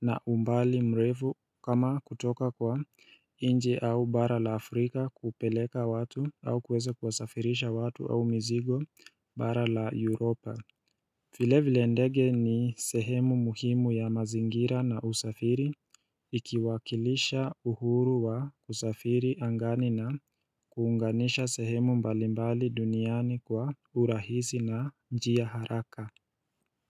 na umbali mrefu kama kutoka kwa nje au bara la Afrika kupeleka watu au kuweza kuwasafirisha watu au mizigo bara la Europa vile vile ndege ni sehemu muhimu ya mazingira na usafiri Ikiwakilisha uhuru wa usafiri angani na kuunganisha sehemu mbalimbali duniani kwa urahisi na njia haraka.